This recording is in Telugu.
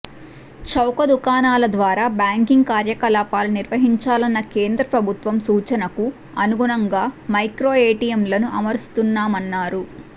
చౌకదుకాణాల ద్వారా బ్యాంకింగ్ కార్యకలాపాలు నిర్వహించాలన్న కేంద్రప్రభుత్వం సూచనకు అనుగుణంగా మైక్రో ఎటిఎంలను అమరుస్తున్నామన్నారు